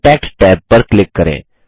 contact tab पर click करें